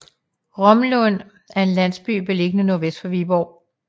Romlund er en landsby beliggende nordvest for Viborg